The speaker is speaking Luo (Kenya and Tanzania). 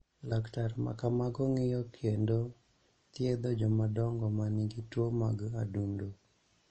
Laktar ma kamago ng�iyo kendo thiedho jomadongo ma nigi tuo mag adundo.